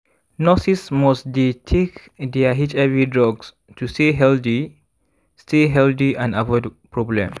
nurses must dey take their hiv drugs to stay healthy stay healthy and avoid problem